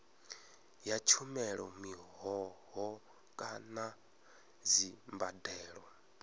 ya tshumelo mihoho kana dzimbadelo